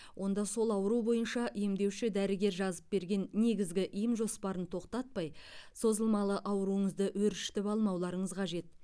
онда сол ауру бойынша емдеуші дәрігер жазып берген негізгі ем жоспарын тоқтатпай созылмалы ауруыңызды өршітіп алмауларыңыз қажет